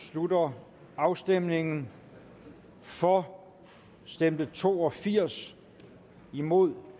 slutter afstemningen for stemte to og firs imod